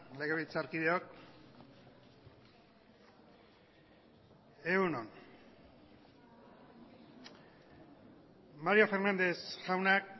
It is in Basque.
legebiltzarkideok egun on mario fernández jaunak